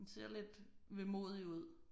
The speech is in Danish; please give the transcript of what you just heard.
Den ser lidt vemodig ud